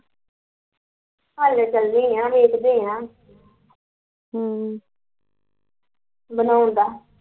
ਹਲੇ ਚੱਲੇ ਆ ਦੇਖਦੀ ਆ ਹਮ ਬਣਾਉਣ ਦਾ